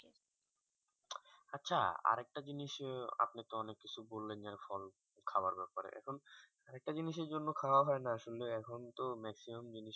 আচ্ছা আরেক তা জিনিস আপনিতো অনেক কিছু বললেন যে ফল খাওয়ার ব্যাপারে এখন একটা জিনিসের জন্য খোয়া হয় না আসলে এখন তো maximum জিনিস